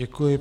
Děkuji.